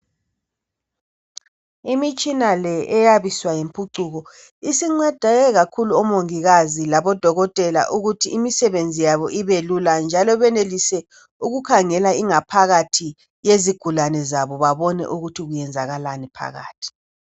Imitshina le eyabiswa yimphucuko, isincede bomungikazi labodokotela ukuthi imisebenzi yabo ibelula njalo benelise ukukhangela ingaphakathi kwezigulane zabo babone ukuthi kwenzakani phakathi.